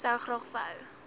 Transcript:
sou graag wou